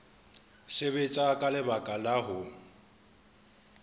sebetsa ka lebaka la ho